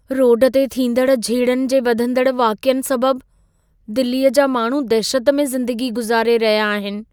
Road ते थींदड़ झेड़नि जे वधंदड़ वाक़यनि सबबु दिल्लीअ जा माण्हू दहिशत में ज़िंदगी गुज़ारे रहिया आहिनि।